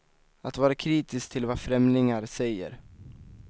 Att vara kritisk till vad främlingar säger.